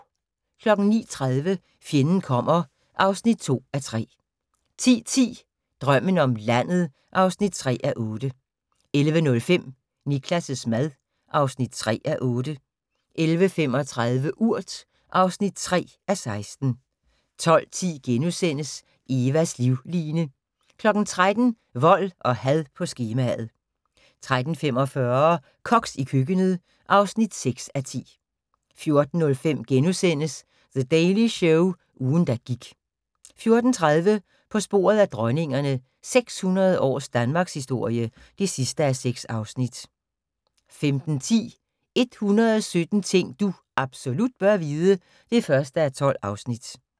09:30: Fjenden kommer (2:3) 10:10: Drømmen om landet (3:8) 11:05: Niklas' mad (3:8) 11:35: Urt (3:16) 12:10: Evas livline * 13:00: Vold og had på skemaet 13:45: Koks i køkkenet (6:10) 14:05: The Daily Show – ugen der gik * 14:30: På sporet af dronningerne – 600 års Danmarkshistorie (6:6) 15:10: 117 ting du absolut bør vide (1:12)